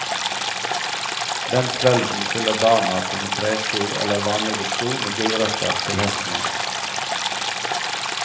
Den kvelden fyller barna sine tresko eller vanlige sko med gulrøtter til hesten hans.